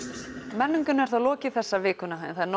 menningunni er þá lokið þessa vikuna en það er